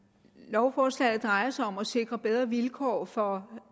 lovforslaget drejer sig om at sikre bedre vilkår for